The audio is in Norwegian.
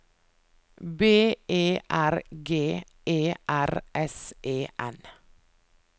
B E R G E R S E N